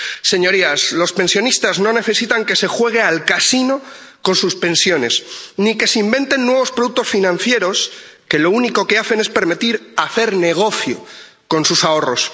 Señorías, los pensionistas no necesitan que se juegue al casino con sus pensiones ni que se inventan nuevos productos financieros que lo único que hacen es permitir hacer negocio con sus ahorros.